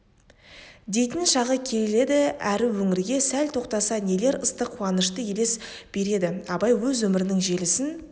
дейтін шағы келеді әр өңірге сәл тоқтаса нелер ыстық қуанышты елес береді абай өз өмірінің желісін